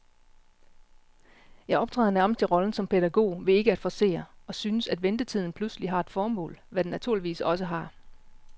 Jeg optræder nærmest i rollen som pædagog ved ikke at forcere, og synes, at ventetiden pludselig har et formål, hvad den naturligvis også har.